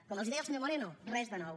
com els deia el senyor moreno res de nou